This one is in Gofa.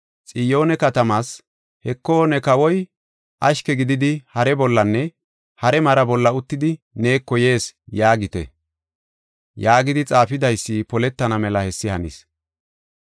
“Xiyoone katamaas, ‘Heko, ne kawoy ashke gididi, hare bollanne hare mara bolla uttidi, neeko yees’ yaagite” yaagidi xaafidaysi poletana mela hessi hanis.